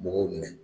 Mɔgɔw minɛ